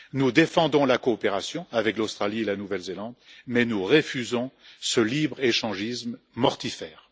Nous défendons la coopération avec l'Australie et la Nouvelle Zélande, mais nous refusons ce libre échangisme mortifère.